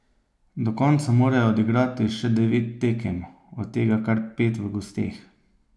Do konca morajo odigrati še devet tekem, od tega kar pet v gosteh.